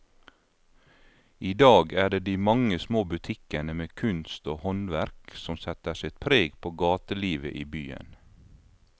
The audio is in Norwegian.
I dag er det de mange små butikkene med kunst og håndverk som setter sitt preg på gatelivet i byen.